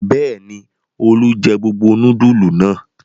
Bẹ́ẹ̀ ni, Olú jẹ gbogbo núdúlù náà.